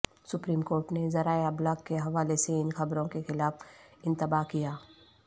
supreme court نے ذرائع ابلاغ کے حوالے سے ان خبروں کے خلاف انتباہ کیا